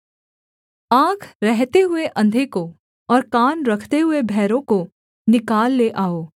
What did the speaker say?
आँख रहते हुए अंधे को और कान रखते हुए बहरों को निकाल ले आओ